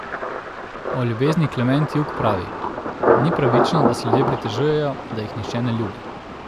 O ljubezni Klement Jug pravi: "Ni pravično, da se ljudje pritožujejo, da jih nihče ne ljubi.